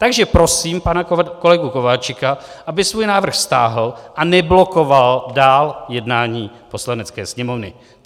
Takže prosím pana kolegu Kováčika, aby svůj návrh stáhl a neblokoval dál jednání Poslanecké sněmovny.